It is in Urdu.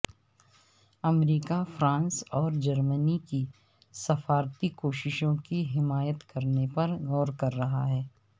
امریکہ فرانس اور جرمنی کی سفارتی کوششوں کی حمایت کرنے پر غور کر رہا ہے